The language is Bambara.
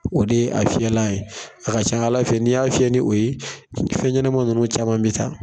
O de ye a fiyɛlan ye, a ka ca Ala fɛ n'i y'a fiyɛ ni o ye, fɛn ɲɛnama ninnu caman bɛ taa.